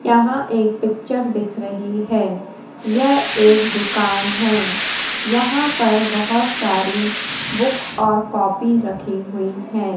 यहां एक पिक्चर दिख रही हैं यह एक दुकान हैं यहां पर बहोत सारी बुक्स और कॉपी रखी हुईं हैं।